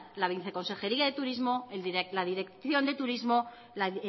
la viceconsejería de turismo la dirección de turismo la